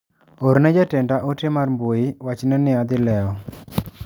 Orne jatenda ote mar mbui wachne ni adhi lewo.